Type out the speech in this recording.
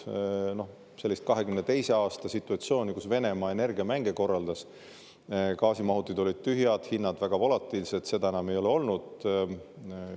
Sellist 2022. aasta situatsiooni, kus Venemaa energiamänge korraldas – gaasimahutid olid tühjad, hinnad väga volatiilsed –, enam ei ole olnud.